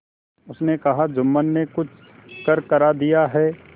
उसने कहाजुम्मन ने कुछ करकरा दिया है